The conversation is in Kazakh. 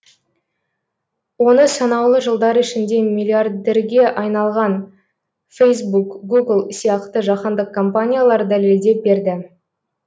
оны санаулы жылдар ішінде миллиардерге айналған фейсбук гугл сияқты жаһандық компаниялар дәлелдеп берді